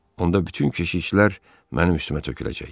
Onda bütün keşiklər mənim üstümə töküləcək.